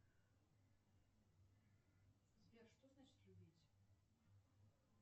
сбер что значит любить